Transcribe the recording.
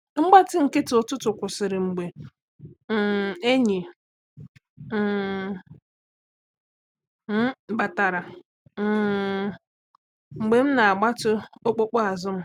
Mgbachi nkịtị ụtụtụ kwụsịrị mgbe um enyi um m batara um mgbe m na-agbatị okpukpu azụ m